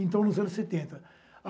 Então, nos anos setenta.